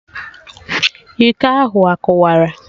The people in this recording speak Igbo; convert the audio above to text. Iko ahụ akụwara?